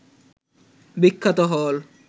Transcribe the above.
বিখ্যাত হল